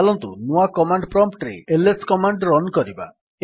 ଚାଲନ୍ତୁ ନୂଆ command prompt ରେ ଏଲଏସ୍ କମାଣ୍ଡ୍ ରନ୍ କରିବା